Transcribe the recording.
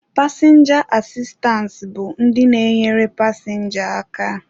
Pasịnja asistance bụ ndị na-enyere pasịnja aka.